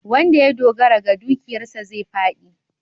Wanda ya dogara ga dukiyarsa zai fāɗi.